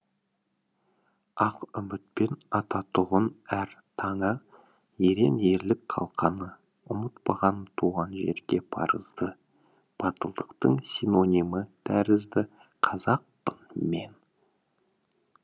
ақ үмітпен ататұғын әр таңы ерен ерлік қалқаны ұмытпаған туған жерге парызды батылдықтың синонимі тәрізді қазақпын мен